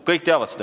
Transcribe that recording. Kõik teavad seda.